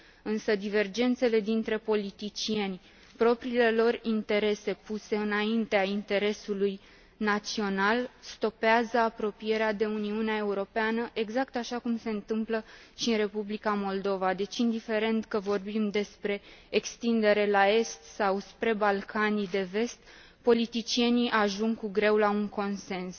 Însă divergențele dintre politicieni, propriile lor interese puse înaintea interesului național, stopează apropierea de Uniunea Europeană, exact așa cum se întâmplă și în Republica Moldova, deci indiferent că vorbim despre extindere la est sau spre Balcanii de Vest, politicienii ajung cu greu la un consens.